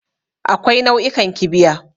Akwai nau'ikan kibiya.